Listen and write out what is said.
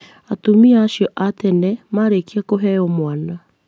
Atumia acio a tene marĩkia kuheo mwana